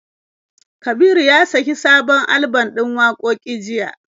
Kabiru ya saki sabon alban ɗin wakoki jiya.